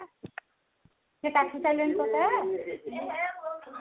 ସେ କାଟି ସାରିଲେଣି